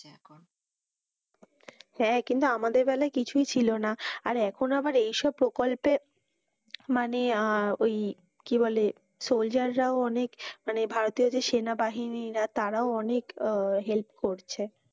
হ্যাঁ কিন্তু আমাদের বেলায় কিছুই ছিল না। আর এখন আবার এই সব প্রকল্পে মানে ওই কি বলে soldier রাও অনেক মানে ভারতীয় যে সেনাবাহিনীরা তারাও অনেক help করছে।